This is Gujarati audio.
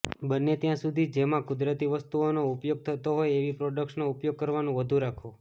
બને ત્યાં સુધી જેમાં કુદરતી વસ્તુઓનો ઉપયોગ થતો હોય એવી પ્રોડક્ટ્સનો ઉપયોગ કરવાનુ વધુ રાખો